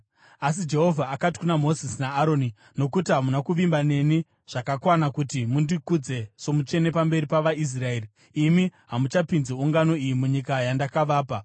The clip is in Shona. Asi Jehovha akati kuna Mozisi naAroni, “Nokuti hamuna kuvimba neni zvakakwana kuti mundikudze somutsvene pamberi pavaIsraeri, imi hamuchapinzi ungano iyi munyika yandakavapa.”